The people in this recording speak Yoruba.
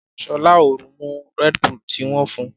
Shola o mú Red Bull tí wón fún.